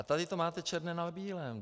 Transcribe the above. A tady to máte černé na bílém.